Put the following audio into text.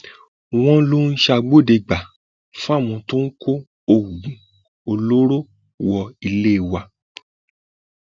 wọn lọ ń ṣàgbọdẹgbà fáwọn tó ń kó oògùn oògùn olóró wọ ilé wa